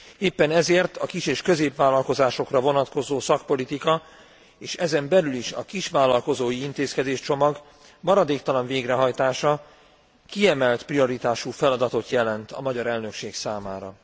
Éppen ezért a kis és középvállalkozásokra vonatkozó szakpolitika és ezen belül is a kisvállalkozói intézkedéscsomag maradéktalan végrehajtása kiemelt prioritású feladatot jelent a magyar elnökség számára.